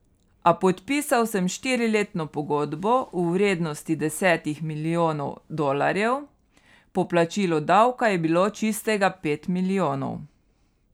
A podpisal sem štiriletno pogodbo v vrednosti desetih milijonov dolarjev, po plačilu davka je bilo čistega pet milijonov.